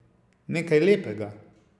Nekaj lepega!